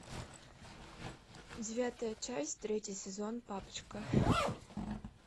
девятая часть третий сезон папочка